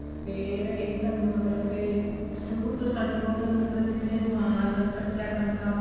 ਫ਼ੇਰ ਇਹ ਥੋਨੂੰ ਮਤਲਬ ਕੇ ਸ਼ੁਰੂ ਤੋਂ ਸਾਡੇ ਕੋਲ ਮਤਲਬ ਕੇ ਜਿਵੇਂ ਰੁਮਾਲ ਕੱਚਾ ਟਾਂਕਾ